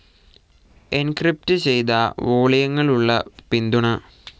encrypted ചെയ്ത വോളിയങ്ങളുള്ള പിന്തുണ